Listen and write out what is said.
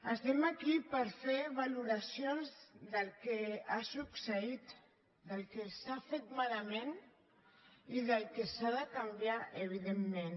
estem aquí per fer valoracions del que ha succeït del que s’ha fet malament i del que s’ha de canviar evidentment